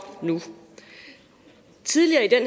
nu tidligere i den